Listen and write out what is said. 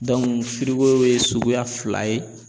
ye suguya fila ye